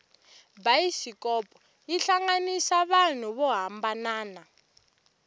bayisikopo yi hlanganisa vanhu vo hambanana